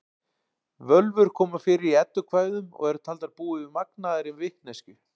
Völvur koma fyrir í eddukvæðum og eru taldar búa yfir magnaðri vitneskju.